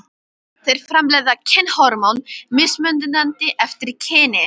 Þeir framleiða kynhormón mismunandi eftir kyni.